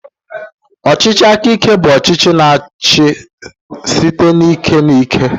Ọchịchị aka ike bụ ọchịchị na-achị site n'ike na ike.